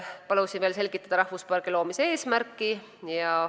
Palusin veel selgitada rahvuspargi loomise eesmärki.